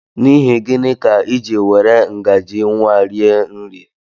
N'ihi gịnị ka I jị were ngaji nwa rie nri?